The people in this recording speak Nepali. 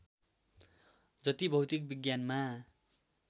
जति भौतिक विज्ञानमा